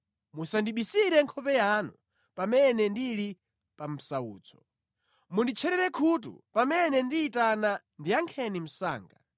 Musandibisire nkhope yanu pamene ndili pa msautso. Munditcherere khutu; pamene ndiyitana ndiyankheni msanga.